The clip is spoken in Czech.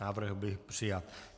Návrh byl přijat.